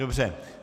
Dobře.